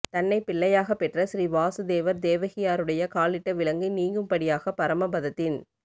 தன்னைப் பிள்ளையாகப் பெற்ற ஸ்ரீ வாஸூ தேவர் தேவகியாருடைய காலிலிட்ட விலங்கு நீங்கும் படியாகப் பரம பதத்தின்